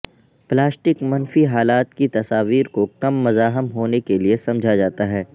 plastic منفی حالات کی تصاویر کو کم مزاحم ہونے کے لئے سمجھا جاتا ہے